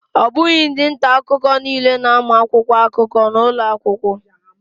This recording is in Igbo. Ọ bụghị ndị nta akụkọ niile na-amụ akwụkwọ akụkọ n'ụlọ akwụkwọ